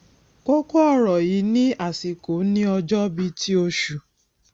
kókó ọrọ yìí ni àsìkò ní ọjọ bí i ti osù